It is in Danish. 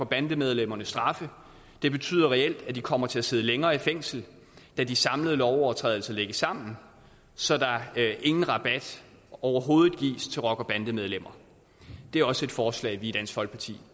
bandemedlemmernes straffe det betyder reelt at de kommer til at sidde længere tid i fængsel da de samlede lovovertrædelser lægges sammen så der ingen rabat overhovedet gives til rockere og bandemedlemmer det er også et forslag som vi i dansk folkeparti